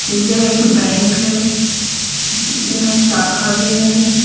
यह एक बैंक है यहां शाखा भी है।